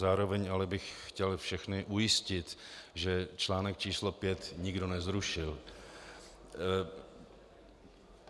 Zároveň ale bych chtěl všechny ujistit, že článek číslo 5 nikdo nezrušil...